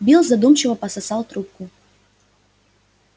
билл задумчиво пососал трубку